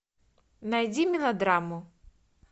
найди мелодраму